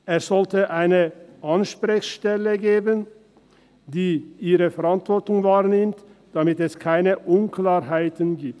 Es sollte eine Ansprechstelle geben, die ihre Verantwortung wahrnimmt, damit es keine Unklarheiten gibt.